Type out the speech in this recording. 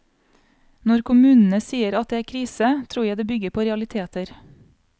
Når kommunene sier at det er krise, tror jeg det bygger på realiteter.